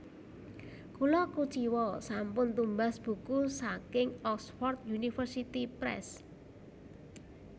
Kula kuciwa sampun tumbas buku saking Oxford University Press